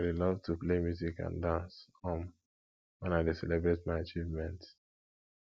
i dey love to play music and dance um when i dey celebrate my achievements